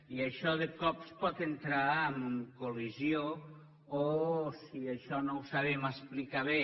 i això de cop pot entrar en col·lisió o si això no ho sabem explicar bé